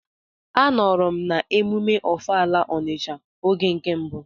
Anọrọ m n'emume ọfala Ọnisha oge nke mbụ.